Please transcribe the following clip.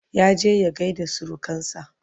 ya je ya gaida surukansa